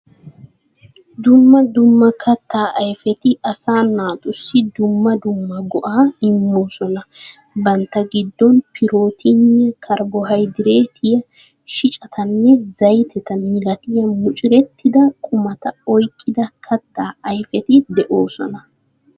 Dumma dumma kattaa ayfeti asaa naatussi dumma dumma go"aa immoosona. Bantta giddon pirootiniyaa, karbohaydireetiyaa, shicatanne zaytete milatiya mucurettida qumata oyqqida kattaa ayfeti de"oosona.